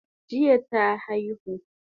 Jiya ta aihu